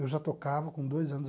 Eu já tocava com dois anos.